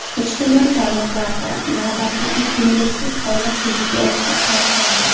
Ijtimoiy tarmoqlarda navbatdagi ko‘ngilsiz holat videosi tarqaldi.